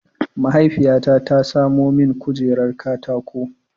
Mahaifiyata ta samo min kujerar katako.